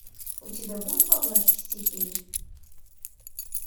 у тебя будет во власти стихии